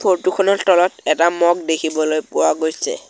Photo খনৰ তলত এটা মগ দেখিবলৈ পোৱা গৈছে।